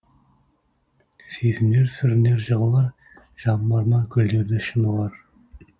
сезімдер сүрінер жығылар жан бар ма гүлдерді шын ұғар